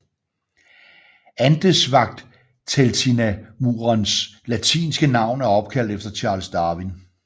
Andesvagteltinamuens latinske navn er opkaldt efter Charles Darwin